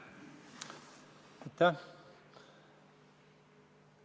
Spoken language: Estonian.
Aitäh!